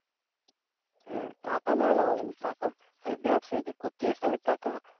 হ্যাঁ টাকা নাহলে হবে না। টাকা মানে ব্যাবসা যদি করতে চাস তাহলে টাকা